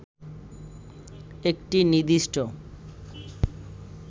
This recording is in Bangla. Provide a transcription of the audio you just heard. একটি নির্দিষ্ট